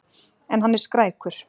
En hann er skrækur.